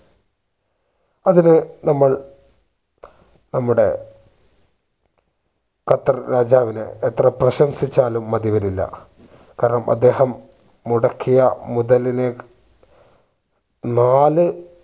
അതിന് നമ്മൾ നമ്മുടെ ഖത്തർ രാജാവിനെ എത്ര പ്രശംസിച്ചാലും മതി വരില്ല കാരണം അദ്ദേഹം മുടക്കിയ മുതലിന് നാല്